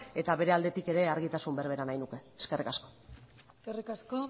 eta bere aldetik ere argitasun berbera nahiko nuke eskerrik asko eskerrik asko